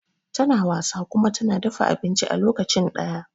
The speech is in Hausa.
tana wasa kuma tana dafa abinci a lokacin daya